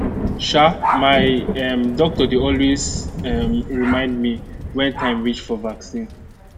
um my um doctor dey always um remind me when time reach for vaccine